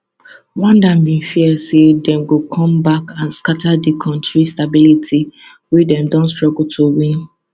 rwanda bin fear say dem go come back and scata di kontri stability wey dem don struggle to win